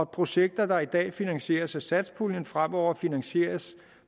projekter der i dag finansieres af satspuljen fremover finansieres